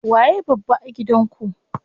Waye babba a gidan ku?